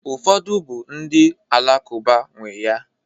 Ụfọdụ bụ ndị Alakụba nwee ya.